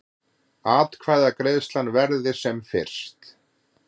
Atkvæðagreiðslan verði sem fyrst